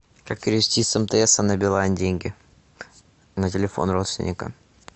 как перевести с мтс на билайн деньги на телефон родственникам